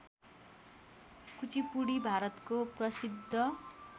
कुचिपुडी भारतको प्रसिद्ध